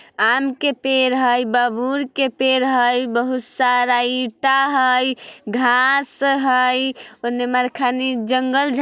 आम के पेड़ हैई बबुल के पेड़ हैई बहुत सारा ईंटा हैई घांस हैई उमा म कनी जंगल झा --